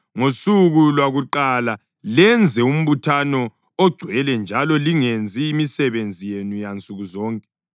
Ngosuku lwakuqala lenze umbuthano ongcwele njalo lingenzi imisebenzi yenu yansuku zonke.